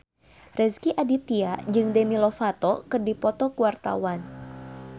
Rezky Aditya jeung Demi Lovato keur dipoto ku wartawan